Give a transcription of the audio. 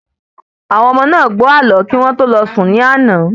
Àwọn ọmọdé náà gbó ààlọ́ kí wọ́n tó lọ sùn ní àná